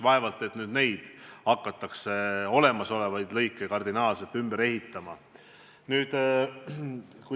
Vaevalt, et olemasolevaid lõike hakatakse kardinaalselt ümber ehitama.